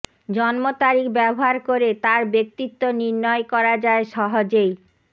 জন্ম তারিখ ব্যবহার করে তার ব্যক্তিত্ব নির্ণয় করা যায় সহজেই